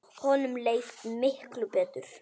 Honum leið betur.